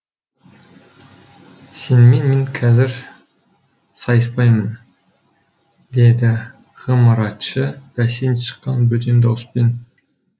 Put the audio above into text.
сенімен мен қазір сайыспаймын деді ғымаратшы бәсең шыққан бөтен дауыспен